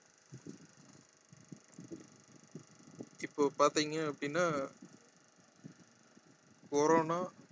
இப்போ பாத்தீங்க அப்படின்னா corona